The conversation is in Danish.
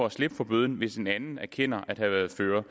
at slippe for bøden hvis en anden erkender at have været fører